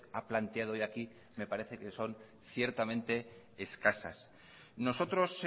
ha planteado hoy aquí me parece que son ciertamente escasas nosotros